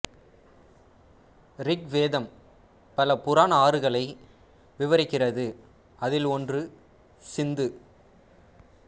ரிக்வேதம் பல புராண ஆறுகளை விவரிக்கிறது அதில் ஒன்று சிந்து